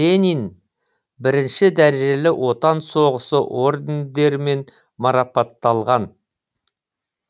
ленин бірінші дәрежелі отан соғысы ордендерімен марапатталған